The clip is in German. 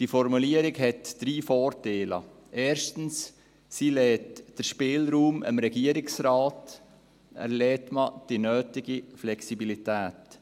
Diese Formulierung hat drei Vorteile, erstens: Sie lässt dem Regierungsrat Spielraum, man lässt die nötige Flexibilität.